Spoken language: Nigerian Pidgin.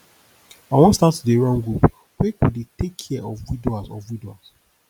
i wan start to dey run group wey go dey take care of widowers of widowers